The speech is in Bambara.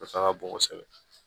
Nafa ka bon kosɛbɛ